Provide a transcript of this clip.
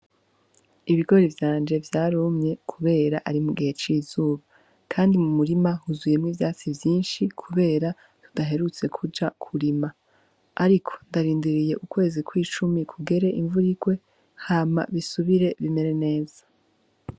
Ibigori vyanje vyarumye, kubera ari mu gihe cizuba, kandi mu murima huzuyemwo ivyatsi vyinshi, kubera tudaherutse kuja kurima, ariko ndarindiriye ukwezi kw'icumi kugere imvurirwe hama bisubire bimere neza.